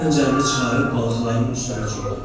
O xəncərini çıxarıb balıqların üstünə cumdu.